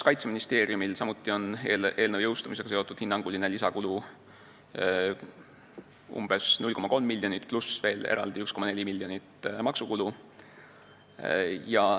Kaitseministeeriumil on samuti eelnõu jõustumisega seotud hinnanguline lisakulu umbes 0,3 miljonit eurot pluss 1,4 miljonit maksukulu.